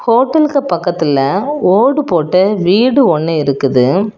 ஹோட்டலுக்கு பக்கத்துல ஓடு போட்ட வீடு ஒன்னு இருக்குது.